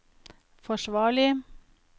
forsvarlig